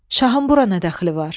Şahın bura nə dəxli var?